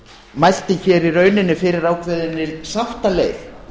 mælti hér í rauninni fyrir ákveðinni sáttaleið